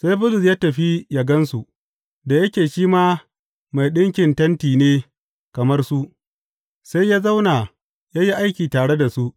Sai Bulus ya tafi yă gan su, da yake shi ma mai ɗinkin tenti ne kamar su, sai ya zauna ya yi aiki tare da su.